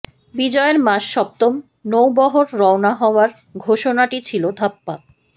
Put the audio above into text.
বিজয়ের মাস সপ্তম নৌবহর রওনা হওয়ার ঘোষণাটি ছিল ধাপ্পা